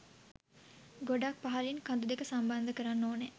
ගොඩක් පහළින් කඳු දෙක සම්බන්ධ කරන්න ඕනෑ.